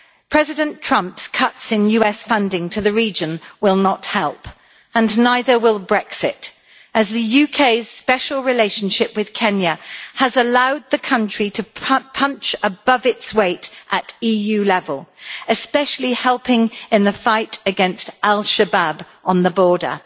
President Trump's cuts in US funding to the region will not help, and neither will Brexit, as the UK's special relationship with Kenya has allowed the country to punch above its weight at EU level, especially helping in the fight against Al Shabab on the border.